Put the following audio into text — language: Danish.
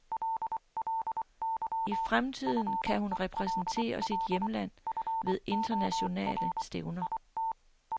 I fremtiden kan hun repræsentere sit hjemland ved internationale stævner.